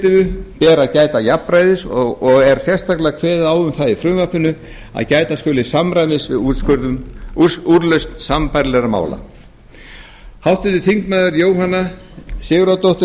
fjármálaeftirlitinu ber að gæta jafnræðis og er sérstaklega kveðið á um það í frumvarpinu að gæta skuli samræmis við úrlausn sambærilegra mála háttvirtir þingmenn jóhanna sigurðardóttir